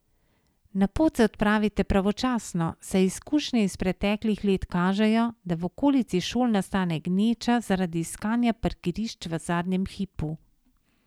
Na pot se odpravite pravočasno, saj izkušnje iz preteklih let kažejo, da v okolici šol nastane gneča zaradi iskanja parkirišč v zadnjem hipu.